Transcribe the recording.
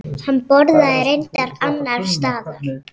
Hann borðaði reyndar annars staðar.